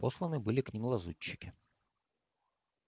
посланы были к ним лазутчики